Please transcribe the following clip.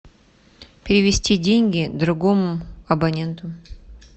перевести деньги другому абоненту